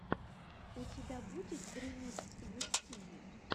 у тебя будет ремикс густиви